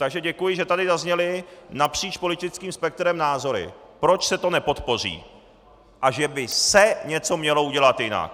Takže děkuji, že tady zazněly napříč politickým spektrem názory, proč se to nepodpoří a že by se(!) něco mělo udělat jinak.